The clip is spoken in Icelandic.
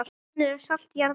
Slíkir menn eru salt jarðar.